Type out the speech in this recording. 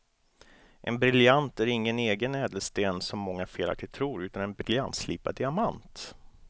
En briljant är ingen egen ädelsten som många felaktigt tror utan en briljantslipad diamant.